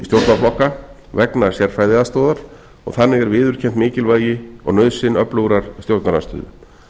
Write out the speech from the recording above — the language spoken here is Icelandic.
stjórnarflokka vegna sérfræðiaðstoðar og þannig er viðurkennt mikilvægi og nauðsyn öflugrar stjórnarandstöðu